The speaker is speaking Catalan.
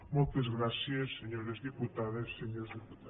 moltes gràcies senyores diputades senyors diputats